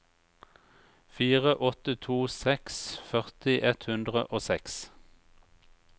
fire åtte to seks førti ett hundre og seks